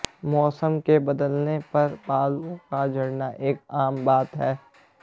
मौसम के बदलने पर बालों का झड़ना एक आम बात है